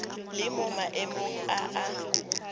le mo maemong a a